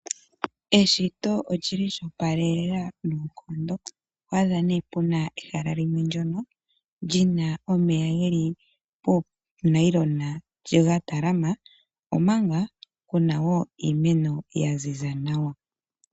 Eshito oli li lyo opalelela noonkondo oto adha nee ehala limwe ndono li na omeya geli poonayilona ga talama omanga puna woo iimeno ya ziza nawa.